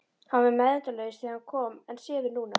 Hann var meðvitundarlaus þegar hann kom en sefur núna.